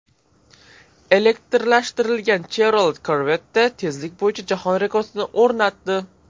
Elektrlashtirilgan Chevrolet Corvette tezlik bo‘yicha jahon rekordini o‘rnatdi.